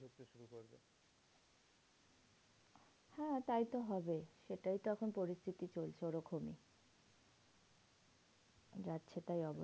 হ্যাঁ তাই তো হবে সেটাই তো এখন পরিস্থিতি চলছে ওরকমই। যাচ্ছেতাই অবস্থা।